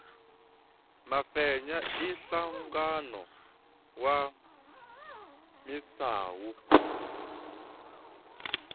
mafenya i nhlangano wa misawu